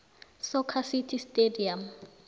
soccer city stadium